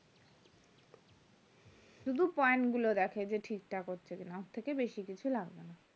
শুধু point গুলো দেখে যে ঠিক ঠাক হচ্ছে কি না তার থেকে বেশি কিছু লাগেনা